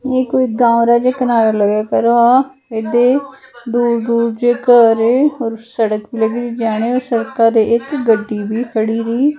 ਜਿਹ ਕੋਈ ਗਾਵ ਜਿਹਾ ਕਿਨਾਰਾ ਲਗਿਆ ਕਰੋ ਆ ਇਹਦੇ ਦੂਰ ਦੂਰ ਚ ਘਰ ਔਰ ਸੜਕ ਭੀ ਲੱਗੀ ਰੀ ਜਾਣੇ ਔਰ ਸੜਕ ਕਿਨਾਰੇ ਇੱਕ ਗੱਡੀ ਵੀ ਖੜੀ ਰਹੀ।